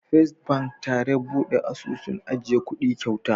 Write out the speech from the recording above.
First bank tare buɗe asusun ajiya kuɗi kyauta.